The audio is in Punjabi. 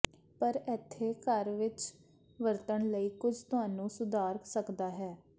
ਪਰ ਇੱਥੇ ਘਰ ਵਿੱਚ ਵਰਤਣ ਲਈ ਕੁਝ ਤੁਹਾਨੂੰ ਸੁਧਾਰ ਸਕਦਾ ਹੈ